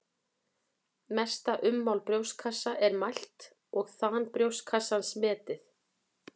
Mesta ummál brjóstkassa er mælt og þan brjóstkassans metið.